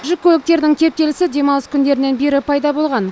жүк көліктерінің кептелісі демалыс күндерінен бері пайда болған